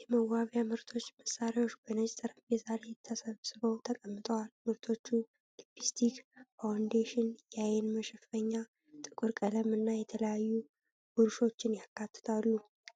የመዋቢያ ምርቶችና መሳሪያዎች በነጭ ጠረጴዛ ላይ ተሰብስበው ተቀምጠዋል። ምርቶቹ ሊፕስቲክ፣ ፋውንዴሽን፣ የአይን መሸፈኛ፣ የጥፍር ቀለም እና የተለያዩ ብሩሾችን ያካትታሉ።